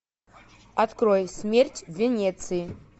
открой смерть в венеции